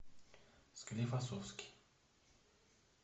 склифосовский